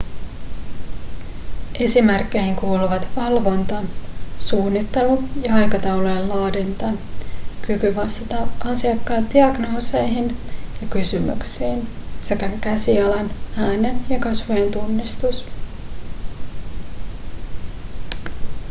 esimerkkeihin kuuluvat valvonta suunnittelu ja aikataulujen laadinta kyky vastata asiakkaan diagnooseihin ja kysymyksiin sekä käsialan äänen ja kasvojen tunnistus